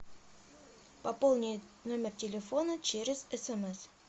пополни номер телефона через смс